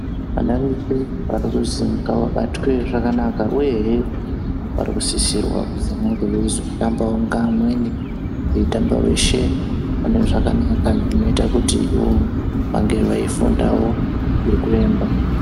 Wana wese warikuzi wabatwe zvakanaka, uye hee warikusisirwa kuzi wanenge weizotambawo ngaamweni weizotamba weshe pane zvakanaka nekudakwekutiwo wange weifundawo ngekuemba.